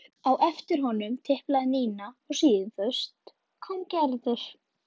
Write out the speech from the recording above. Á eftir honum tiplaði Nína og síðust kom Gerður.